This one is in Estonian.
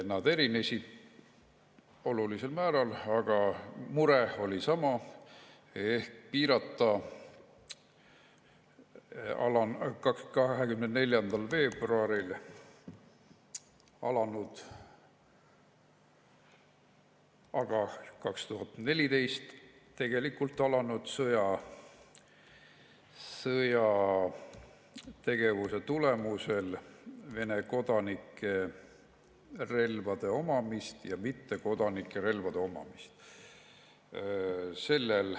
Need erinesid olulisel määral, aga mure oli sama: piirata 24. veebruaril alanud, tegelikult 2014 alanud sõjategevuse tõttu Vene kodanikel ja mittekodanikel relvade omamist.